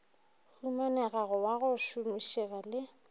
humanegago wa go šomišega le